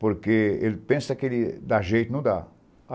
porque ele pensa que dá jeito e não dá.